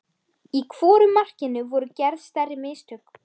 Í hvoru markinu voru gerð stærri mistök?